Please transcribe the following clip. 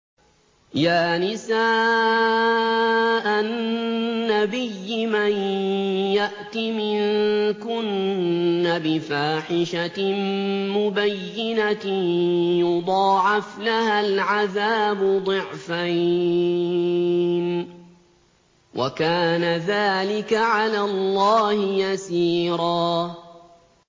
يَا نِسَاءَ النَّبِيِّ مَن يَأْتِ مِنكُنَّ بِفَاحِشَةٍ مُّبَيِّنَةٍ يُضَاعَفْ لَهَا الْعَذَابُ ضِعْفَيْنِ ۚ وَكَانَ ذَٰلِكَ عَلَى اللَّهِ يَسِيرًا